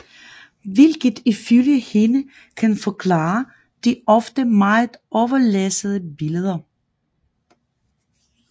Hvilket ifølge hende kan forklare de ofte meget overlæssede billeder